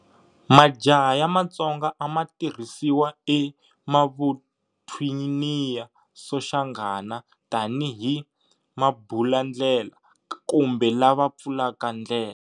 Majaha ya matsonga ama tirhisiwa e mavuthwiniya soshangana tani hi"mabulandlela" kumbe lava pfulaka ndlela.